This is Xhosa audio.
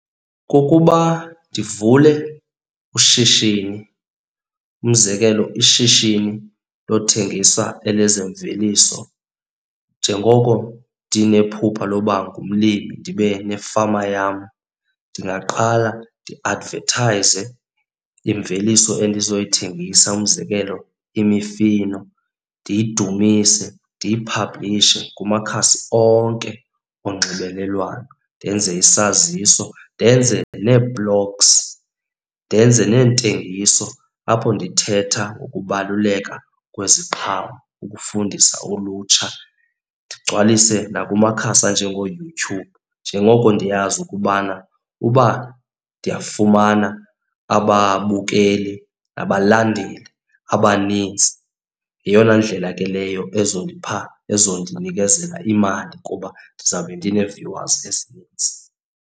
Kukuba ndivule ushishini. Umzekelo ishishini lothengisa elezemveliso njengoko ndinephupha lobangumlimi, ndibe nefama yam. Ndingaqala ndiadvethayize imveliso endizoyithengisa, umzekelo imifino, ndiyidumise, ndiyiphablishe kumakhasi onke onxibelelwano. Ndenze isaziso, ndenze neeploks, ndenze neentengiso apho ndithetha ngokubaluleka kweziqhamo ukufundisa ulutsha. Ndigcwalise nakumakhasi anjengoYouTube njengoko ndiyazi ukubana uba ndiyafumana ababukeli nabalandeli abanintsi, yeyona ndlela ke leyo ezizondipha, ezondinikezela imali kuba ndizawube ndine-viewers ezinintsi.